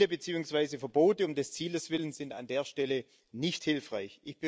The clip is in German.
Ziele beziehungsweise Verbote um des Zieles willen sind an der Stelle nicht hilfreich.